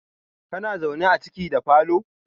kana zaune a ciki da falo?